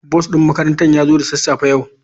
Bus din makarantar ya zo da sassafe yau.